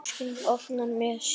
Tískuhús opnað með sýningu